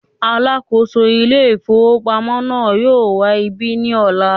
“ alákòóso Ilé-ìfowópamọ́” náà yóò wá ibí ní ọ̀la.